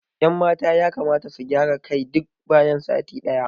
Ƴan mata yakamata su gyara kai duk bayan sati day